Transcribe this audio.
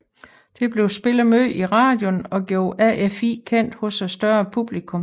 Det blev spillet meget i radioen og gjorde AFI kendt hos et større publikum